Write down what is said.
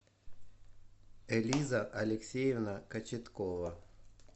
элиза алексеевна кочеткова